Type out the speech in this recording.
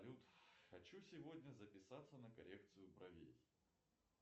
хочу сегодня записаться на коррекцию бровей